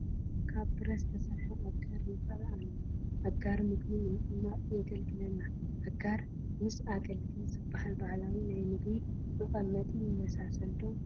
ካብ ብረት ዝተሰርሐ ኣጋር ይርአ ኣሎ፡፡ ኣጋር ምግቢ ንምቕማጥ የግልግለና፡፡ ኣጋር ምስ ኣገልግል ዝበሃል ባህላዊ ናይ ምግቢ መቐመጢ ይመሳሰል ዶ?